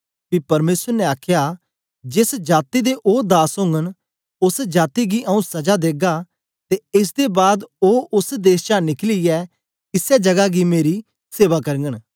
पी परमेसर ने आखया जेस जाती दे ओ दास ओगन ओस जाती गी आंऊँ सजा देगा ते एस दे बाद ओ ओस देश चा निकलियै इसै जगा मेरी सेवा करगन